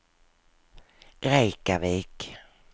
Reykjavik